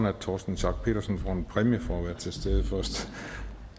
at torsten schack pedersen får en præmie for at være til stede